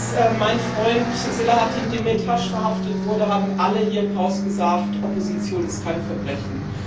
Als mein Freund Selahattin Demirtaş verhaftet wurde, haben alle hier im Haus gesagt Opposition ist kein Verbrechen.